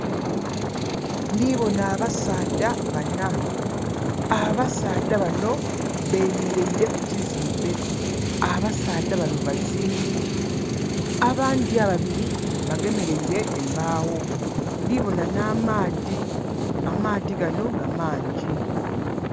Ndi bona abasaadha bana. Abasaadha bano bemeleire ku kizimbe. Abasaadha bano bazimbi. Abandi ababiri bagemeleire embawo. Ndi bona na maadhi, amaadhi gano nga mangi